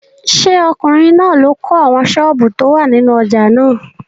Ṣé ọkùnrin náà ló kọ́ àwọn sọ́ọ̀bù tó wà nínú ojà náà?